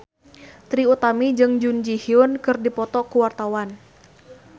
Trie Utami jeung Jun Ji Hyun keur dipoto ku wartawan